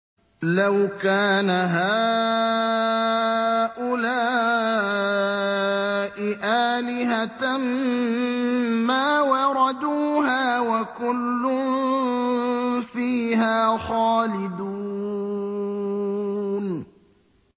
لَوْ كَانَ هَٰؤُلَاءِ آلِهَةً مَّا وَرَدُوهَا ۖ وَكُلٌّ فِيهَا خَالِدُونَ